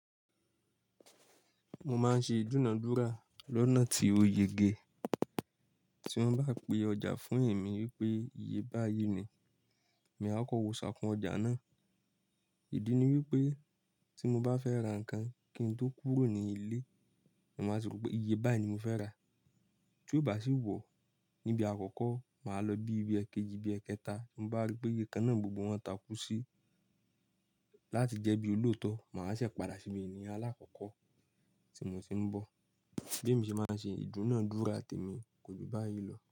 Mo máa ń ṣe ìdúnà dúrà lọ́nà tí oyège tí wọ́n bá pe ọjà fún èmi wípé iye báyìí ni, mà á kọ wò ṣàkún ọjà náà. Ìdí ni wípé tí mo bá fẹ́ ra nǹkan kí n tó kúrò ní ilé, màá sọ wípé iye báyìí ni mo fẹ́ rà. Tí ó bá sì wọ̀ níbi àkọ́kọ́, mà á lọ bí ibi èkejì, bí èkẹta, mo bá ríi pé iye kan náà gbogbo wọn takú sí láti jẹ́ bí olóòótọ́, mà á sì padà síbi ènìyàn aláàkọ́kọ́ tí mo ti ń bọ̀. Bí èmi ṣe máa ń ṣe ìdúnàádúrà tèmí kò ju báyìí lọ.